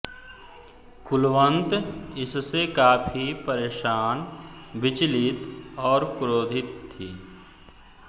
कुलवन्त इससे काफ़ी परेशान विचलित और क्रोधित थी